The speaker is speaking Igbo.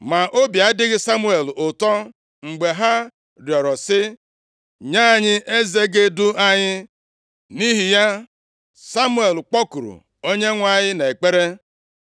Ma obi adịghị Samuel ụtọ mgbe ha rịọrọ sị, “Nye anyị eze ga-edu anyị.” Nʼihi ya, Samuel kpọkuru Onyenwe anyị nʼekpere.